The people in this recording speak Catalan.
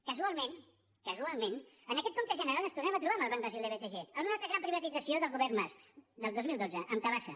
casualment casualment en aquest compte general ens tornem a trobar amb el banc brasiler btg en una altra gran privatització del govern mas del dos mil dotze amb tabasa